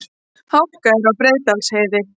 Hálka er á Breiðdalsheiði